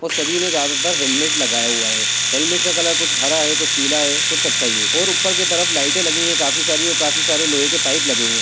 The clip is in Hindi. और सभी ने ज्यादातर हेलमेट लगाया हुआ है हेलमेट का कलर कुछ हरा है कुछ पीला है कुछ कत्थई है और ऊपर की तरफ लाइटें लगी हैं काफी सारी और काफी सारी लोहे के पाइप लगे हुए --